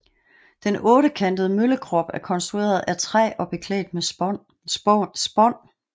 Den ottekantede møllekrop er konstrueret af træ og beklædt med spån